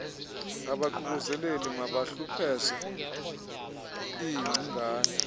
abaququzeleli mabahlupheze iingcingane